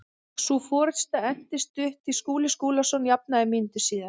Sú forusta entist stutt því Skúli Skúlason jafnaði mínútu síðar.